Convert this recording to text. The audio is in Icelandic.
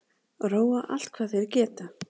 Róa allt hvað þeir geta